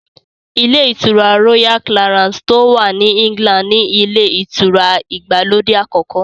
Ilé ìtura Royal Clarance tó wà ní England ni ilé ìtura ìgbàlódé àkọ́kọ́